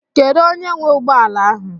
Kedụ onye nwee ụgbọala ahụ?